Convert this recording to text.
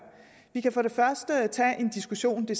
vi kan for det første tage en diskussion det